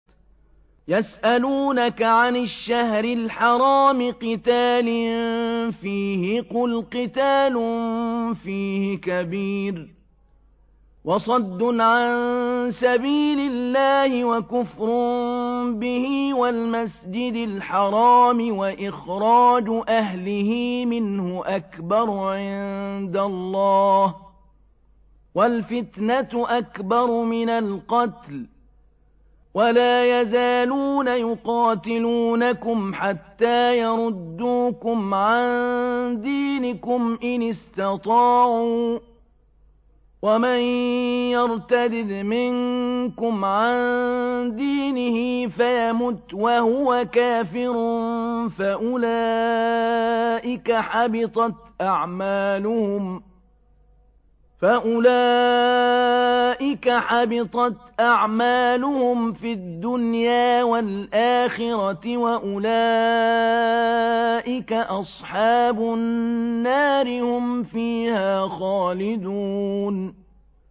يَسْأَلُونَكَ عَنِ الشَّهْرِ الْحَرَامِ قِتَالٍ فِيهِ ۖ قُلْ قِتَالٌ فِيهِ كَبِيرٌ ۖ وَصَدٌّ عَن سَبِيلِ اللَّهِ وَكُفْرٌ بِهِ وَالْمَسْجِدِ الْحَرَامِ وَإِخْرَاجُ أَهْلِهِ مِنْهُ أَكْبَرُ عِندَ اللَّهِ ۚ وَالْفِتْنَةُ أَكْبَرُ مِنَ الْقَتْلِ ۗ وَلَا يَزَالُونَ يُقَاتِلُونَكُمْ حَتَّىٰ يَرُدُّوكُمْ عَن دِينِكُمْ إِنِ اسْتَطَاعُوا ۚ وَمَن يَرْتَدِدْ مِنكُمْ عَن دِينِهِ فَيَمُتْ وَهُوَ كَافِرٌ فَأُولَٰئِكَ حَبِطَتْ أَعْمَالُهُمْ فِي الدُّنْيَا وَالْآخِرَةِ ۖ وَأُولَٰئِكَ أَصْحَابُ النَّارِ ۖ هُمْ فِيهَا خَالِدُونَ